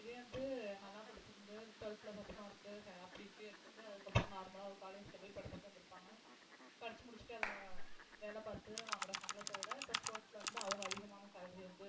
இதே வந்து நல்லா படிச்சிருந்து twelfth ல first mark அப்படி இப்படி எடுத்துட்டு அதுக்கப்புறம் normal லா ஒரு college ல போய் படிச்சுட்டு வந்திருப்பாங்க படிச்சு முடிச்சுட்டு அவங்க வேலை பார்த்து வாங்குற சம்பளத்தை விட இப்ப sports ல வந்து அவங்க அதிகமான salary வந்து